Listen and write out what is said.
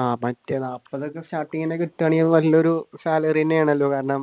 ആഹ് മറ്റേ നാല്പത്തൊക്കെ starting തന്നെ കിട്ടുകയാണെങ്കിൽ വലിയ ഒരു salary തന്നെയാണല്ലോ കാരണം